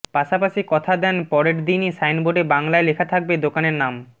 পাশাপাশি কথা দেন পরের দিনই সাইনবোর্ডে বাংলায় লেখা থাকবে দোকানের নাম